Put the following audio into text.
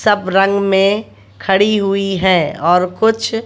सब रंग में खड़ी हुई है और कुछ --